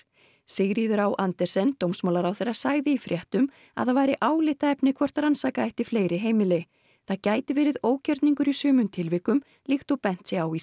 Sigríður á Andersen dómsmálaráðherra sagði í fréttum að það væri álitaefni hvort rannsaka ætti fleiri heimili það gæti verið ógjörningur í sumum tilvikum líkt og bent sé á í